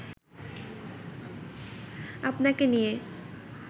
আপনাকে নিয়ে